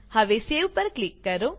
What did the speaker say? હવે સેવ પર ક્લિક કરો